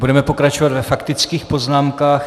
Budeme pokračovat ve faktických poznámkách.